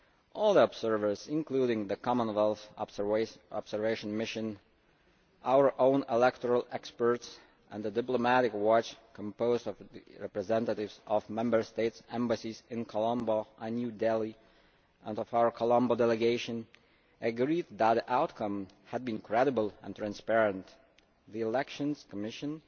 All the observers, including the Commonwealth Observation Mission, our own electoral experts, and the Diplomatic Watch' composed of representatives of Member States' embassies in Colombo and New Delhi and of our Colombo Delegation, agreed that the outcome had been credible and transparent. The Election Commission